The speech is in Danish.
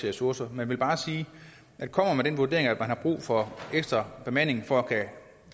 ressourcer jeg vil bare sige at kommer man med den vurdering at man har brug for ekstra bemanding for at kunne